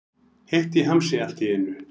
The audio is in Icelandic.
Heitt í hamsi allt í einu.